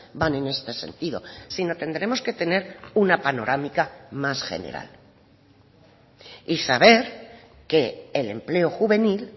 van en este sentido si no tendremos que tener una panorámica más general y saber que el empleo juvenil